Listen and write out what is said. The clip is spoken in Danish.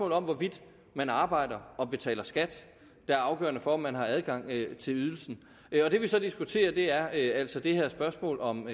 om hvorvidt man arbejder og betaler skat der er afgørende for om man har adgang til ydelsen det vi så diskuterer er altså det her spørgsmål om